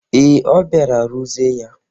Ee, ọ bịara ruzie ya.